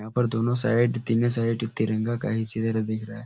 यहाँ पर दोनों साइड तीनो साइड तिरंगा का ही दिख रहा है।